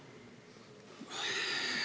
Aitäh!